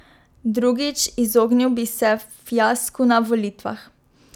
Drugič, izognil bi se fiasku na volitvah.